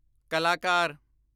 ਕਲਾਕਾਰ